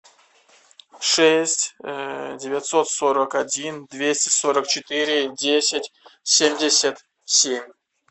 шесть девятьсот сорок один двести сорок четыре десять семьдесят семь